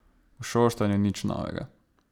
V Šoštanju nič novega.